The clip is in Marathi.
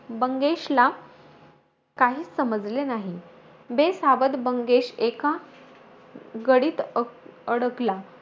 बंगेशला काहीचं समजले नाही. बेसावध बंगेश एका गडीत अक अडकला.